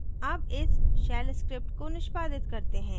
अब इस shell script को निष्पादित करते हैं